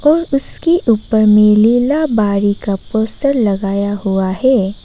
और उसके ऊपर में लीलाबाड़ी का पोस्टर लगाया हुआ है।